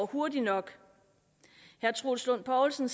hurtigt nok herre troels lund poulsen